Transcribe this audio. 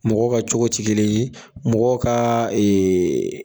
Mɔgɔ ka cogo tɛ kelen ye, mɔgɔ ka